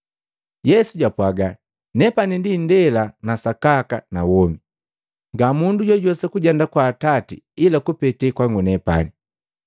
Yesu jwapwaga, “Nepani ndi indela na sakaka na womi. Nga mundu jojuwesa kujenda kwa Atati ila kupete kwangu nepani.